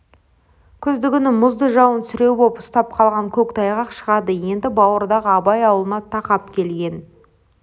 күздігүнгі мұзды жауын сіреу боп ұстап қалған көк тайғақ шығады енді бауырдағы абай аулына тақап келген